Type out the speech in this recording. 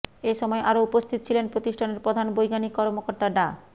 এ সময় আরও উপস্থিত ছিলেন প্রতিষ্ঠানের প্রধান বৈজ্ঞানিক কর্মকর্তা ডা